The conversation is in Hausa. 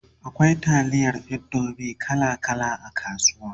akwai taliyar indomie kala kala a kasuwa